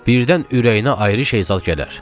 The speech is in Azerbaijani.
Birdən ürəyinə ayrı şey zad gələr.